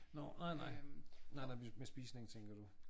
Nåh nej nej nej med spisning tænker du